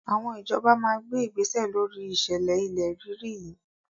Àwọn ìjọba máa gbé igbésẹ̀ lóri ìṣẹ̀lẹ̀ ilẹ̀ rírì yìí.